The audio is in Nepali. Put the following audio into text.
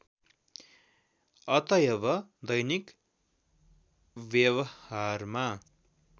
अतएव दैनिक व्यवहारमा